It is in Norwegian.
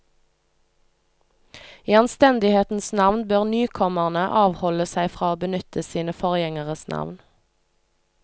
I anstendighetens navn bør nykommerne avholde seg fra å benytte sine forgjengeres navn.